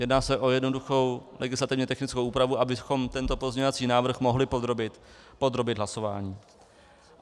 Jedná se o jednoduchou legislativně technickou úpravu, abychom tento pozměňovací návrh mohli podrobit hlasování.